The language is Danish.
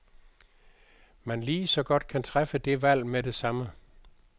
Man ligeså godt kan træffe det valg med det samme.